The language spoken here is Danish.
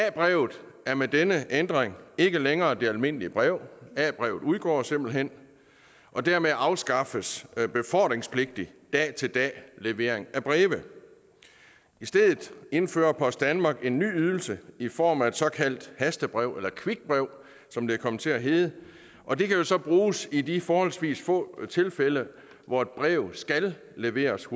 a brevet er med denne ændring ikke længere det almindelige brev a brevet udgår simpelt hen og dermed afskaffes befordringspligtig dag til dag levering af breve i stedet indfører post danmark en ny ydelse i form af et såkaldt hastebrev eller quickbrev som det kom til at hedde og det kan jo så bruges i de forholdsvis få tilfælde hvor et brev skal leveres